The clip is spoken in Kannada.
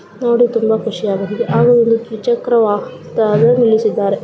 ನೋಡಿ ತುಂಬ ಖುಷಿಯಾಗಲಿದೆ ಹಾಗು ಒಂದು ದ್ವಿಚಕ್ರ ವಾಹನದಾಗೆ ನಿಲ್ಲಿಸಿದ್ದಾರೆ.